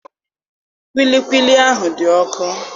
Kwilikwili ahụ dị ọkụ.